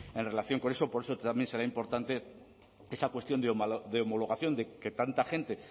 en relación con eso por eso también será importante esa cuestión de homologación de que tanta gente